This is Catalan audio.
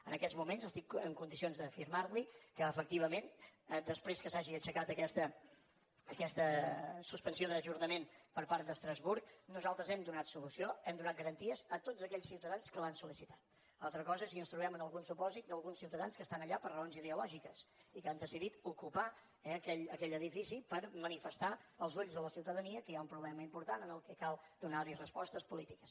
en aquests moments estic en condicions d’afirmar li que efectivament després que s’hagi aixecat aquesta suspensió d’ajornament per part d’estrasburg nosaltres hem donat solució hem donat garanties a tots aquells ciutadans que l’han solen algun supòsit d’alguns ciutadans que estan allà per raons ideològiques i que han decidit ocupar aquell edifici per manifestar als ulls de la ciutadania que hi ha un problema important a què cal donar hi respostes polítiques